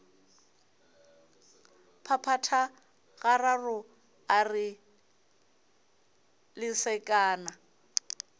phaphatha gararo a re lesekana